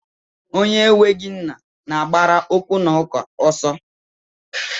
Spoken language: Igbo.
Onye enweghị nna na-agbara okwunauka ọsọ.